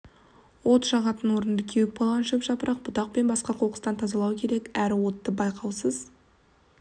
от жағатын орынды кеуіп қалған шөп жапырақ бұтақ пен басқа қоқыстан тазалау керек әрі отты байқаусыз